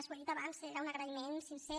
ho he dit abans era un agraïment sincer